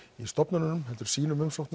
stofnununum heldur sínum umsóknum